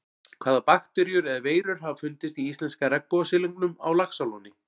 Hvaða bakteríur eða veirur hafa fundist í íslenska regnbogasilungnum á Laxalóni?